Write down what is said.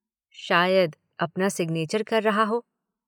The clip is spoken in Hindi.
शायद अपना सिग्नेचर कर रहा हो।